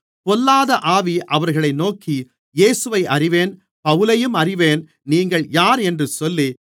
பொல்லாத ஆவி அவர்களை நோக்கி இயேசுவை அறிவேன் பவுலையும் அறிவேன் நீங்கள் யார் என்று சொல்லி